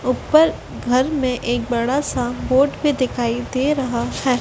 ऊपर घर में एक बड़ा सा बोट भी दिखाई दे रहा है।